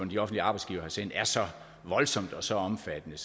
de offentlige arbejdsgivere har sendt er så voldsomt og så omfattende